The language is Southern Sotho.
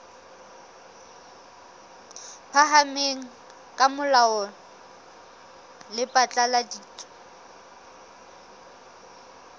phahameng la molao le phatlaladitse